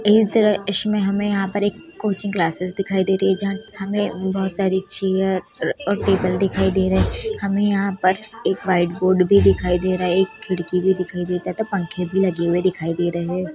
इसमें हमें यहाँ पर एक कोचिंग क्लासेस दिखाई दे रही है जहां हमे बहुत सारी चेयर और टेबल दिखाई दे रहे हमें यहाँ पर एक वाइट बोर्ड भी दिखाई दे रहा एक खिड़की भी दिखाई दे रहा दो पंखे भी लगे दिखाई दे रहे है।